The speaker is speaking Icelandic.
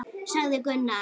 sagði Gunnar.